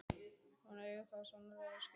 Hún eigi það svo sannarlega skilið núna.